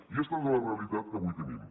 i esta és la realitat que avui tenim